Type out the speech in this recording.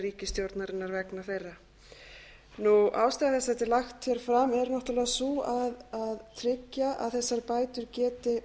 ríkisstjórnarinnar vegna þeirra ástæða þess að þetta er lagt hér fram er náttúrlega sú að tryggja að þessar bætur geti